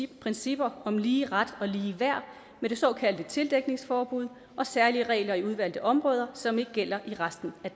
principper om lige ret og lige værd med det såkaldte tildækningsforbud særlige regler i udvalgte områder som ikke gælder i resten af